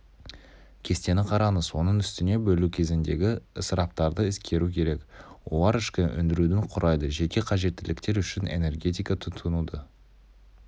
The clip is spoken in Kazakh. кестені қараңыз оның үстіне бөлу кезіндегі ысыраптарды ескеру керек олар ішкі өндірудің құрайды жеке қажеттіліктер үшін энергетика тұтынуды